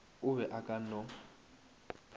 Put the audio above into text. o be a ka no